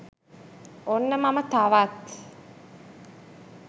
ඔන්න මම තවත්